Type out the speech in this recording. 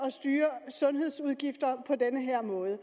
at styre sundhedsudgifter på den her måde